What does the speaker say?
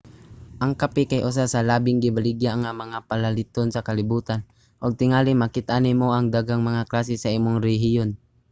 ang kape kay usa sa labing gibaligya nga mga palaliton sa kalibutan ug tingali makit-an nimo ang daghang mga klase sa imong rehiyon